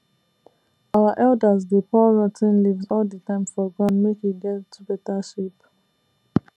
our elders dey pour rot ten leaves all the time for ground make e get better shape